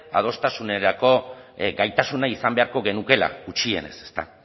adostasunerako gaitasuna izan beharko genukeela gutxienez ezta